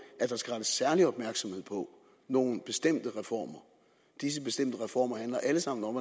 at der skal rettes særlig opmærksomhed på nogle bestemte reformer disse bestemte reformer handler alle sammen om